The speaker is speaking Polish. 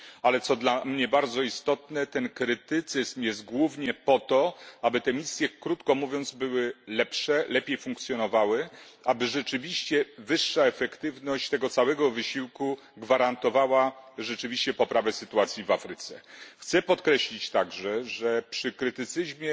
Ale, co dla mnie bardzo istotne, ten krytycyzm jest głównie po to, aby te misje, krótko mówiąc, były lepsze, lepiej funkcjonowały, aby rzeczywiście wyższa efektywność tego całego wysiłku gwarantowała poprawę sytuacji w Afryce. Chciałbym także podkreślić, że przy krytycyzmie